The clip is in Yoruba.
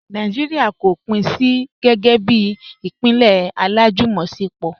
Nàìjíríà kò pín sí gẹ́gẹ́ bí ìpínlẹ̀ alájùmọ̀ṣepọ̀.